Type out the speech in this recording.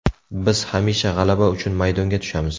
Biz hamisha g‘alaba uchun maydonga tushamiz.